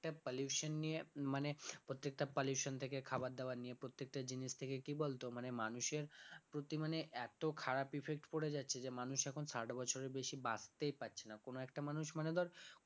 pollution নিয়ে মানে প্রত্যেকটা pollution থেকে খাবার দাবার নিয়ে প্রত্যেকটা জিনিস থেকে কি বলতো মানে মানুষের প্রতি মানে এত খারাপ effect পড়ে যাচ্ছে যে মানুষ এখন ষাট বছরের বেশি বাঁচতেই পারছে না কোন একটা মানুষ মানে ধর